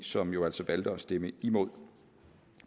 som jo altså valgte at stemme imod